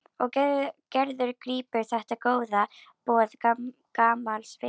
Og Gerður grípur þetta góða boð gamals vinar.